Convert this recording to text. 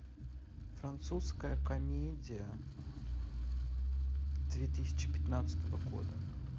французская комедия две тысячи пятнадцатого года